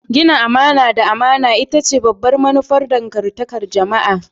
Gina amana da amana ita ce babbar manufar dangantakar jama'a.